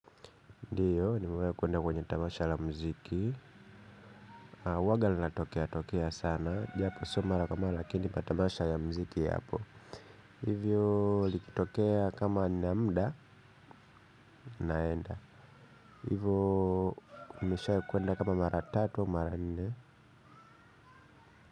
Ndiyo nimewahi kuenda kwenye tamasha la muziki huanga linatokea tokea sana. Japo si mara kwa mara lakini kwa tamasha ya muziki yapo. Hivyo likitokea kama nina muda naenda. Hivyo nishawahi kuenda kama mara tatu au mara nne.